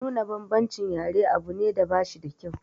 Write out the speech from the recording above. Nuna bambancin yare abu ne da bashi da kyau.